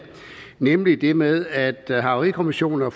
nemlig det med at det for havarikommissioner